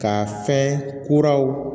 Ka fɛn kuraw